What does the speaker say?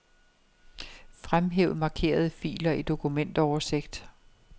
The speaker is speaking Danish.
Fremhæv markerede filer i dokumentoversigt.